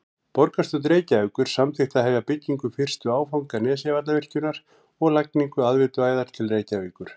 Borgarstjórn Reykjavíkur samþykkti að hefja byggingu fyrsta áfanga Nesjavallavirkjunar og lagningu aðveituæðar til Reykjavíkur.